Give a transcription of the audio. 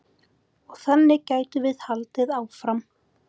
Og þannig gætum við haldið áfram.